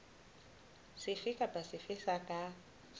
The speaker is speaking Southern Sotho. sefe kapa sefe se ka